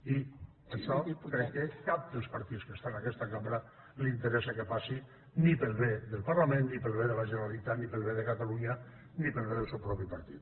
i això crec que cap dels partits que està en aquesta cambra li interessa que passi ni pel bé del parlament ni pel bé de la generalitat ni pel bé de catalunya ni pel bé del seu propi partit